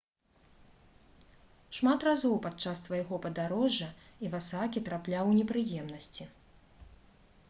шмат разоў падчас свайго падарожжа івасакі трапляў у непрыемнасці